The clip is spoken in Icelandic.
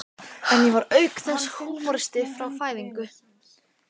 En ég var auk þess húmoristi frá fæðingu.